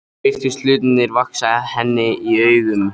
Nú virtust hlutirnir vaxa henni í augum.